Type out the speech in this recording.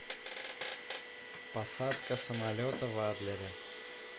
посадка самолета в адлере